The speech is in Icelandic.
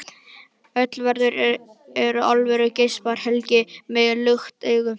Öll veður eru alvöru, geispar Helgi með lukt augu.